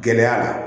Gɛlɛya la